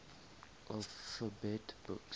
alphabet books